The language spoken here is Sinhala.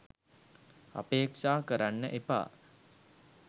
අපේක්ෂා කරන්න එපා.